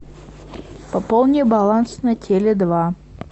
пополни баланс на теле два